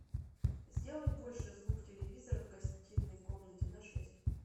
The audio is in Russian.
сделай больше звук телевизора в гостиной комнате на шесть